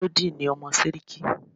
Melody ni ọmọ Séríkí